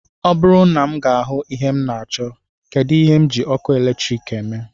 Ọ bụrụ na m ga-ahụ ihe m na-achọ, kedụ ihe m ji ọkụ eletrik eme